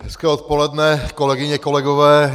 Hezké odpoledne, kolegyně, kolegové.